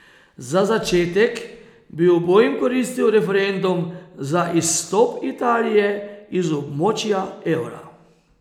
Za začetek bi obojim koristil referendum za izstop Italije iz območja evra.